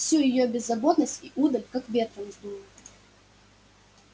всю её беззаботность и удаль как ветром сдуло